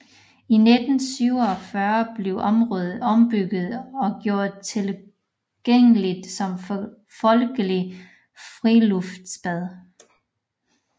I 1947 blev området ombygget og gjort tilgængeligt som folkelig friluftsbad